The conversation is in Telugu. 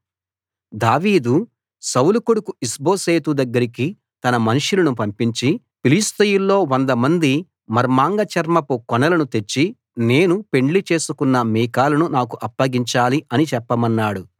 దావీదు సౌలు కొడుకు ఇష్బోషెతు దగ్గరికి తన మనుషులను పంపించి ఫిలిష్తీయుల్లో వందమంది మర్మాంగ చర్మపు కొనలను తెచ్చి నేను పెండ్లి చేసుకొన్న మీకాలును నాకు అప్పగించాలి అని చెప్పమన్నాడు